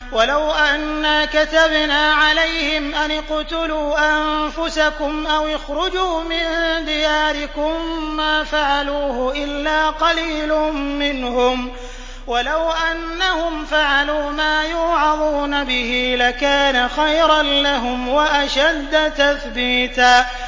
وَلَوْ أَنَّا كَتَبْنَا عَلَيْهِمْ أَنِ اقْتُلُوا أَنفُسَكُمْ أَوِ اخْرُجُوا مِن دِيَارِكُم مَّا فَعَلُوهُ إِلَّا قَلِيلٌ مِّنْهُمْ ۖ وَلَوْ أَنَّهُمْ فَعَلُوا مَا يُوعَظُونَ بِهِ لَكَانَ خَيْرًا لَّهُمْ وَأَشَدَّ تَثْبِيتًا